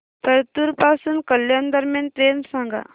परतूर पासून कल्याण दरम्यान ट्रेन सांगा